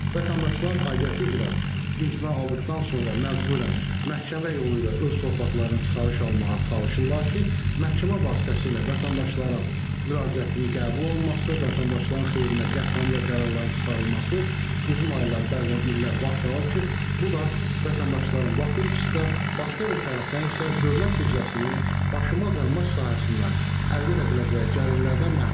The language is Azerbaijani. Vətəndaşlar aidiyyatı üzrə imtina aldıqdan sonra məcburən məhkəmə yolu ilə öz torpaqlarını çıxarış almağa çalışırlar ki, məhkəmə vasitəsilə vətəndaşların müraciətinin qəbul olunması, vətəndaşların xeyrinə qətnamə və qərarların çıxarılması uzun aylar, bəzən illər vaxt alır ki, bu da vətəndaşların vaxt itkisinə, başqa bir tərəfdən isə dövlət büdcəsinin daşınmaz əmlak sahəsindən əldə edə biləcəyi gəlirlərdən məhrum edir.